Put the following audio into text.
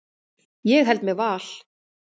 Ég held með Val.